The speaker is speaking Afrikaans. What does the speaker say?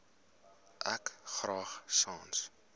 ek graag sans